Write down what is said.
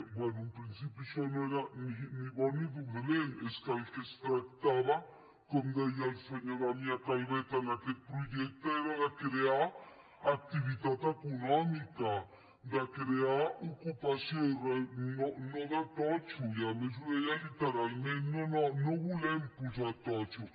bé en principi això no era ni bo ni dolent és que del que es tractava com deia el senyor damià calvet en aquest projecte era de crear activitat econòmica de crear ocupació no de totxo i a més ho deia literalment no no no volem posar totxo